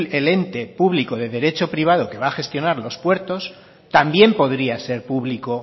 el ente público de derecho privado que va a gestionar los puertos también podría ser público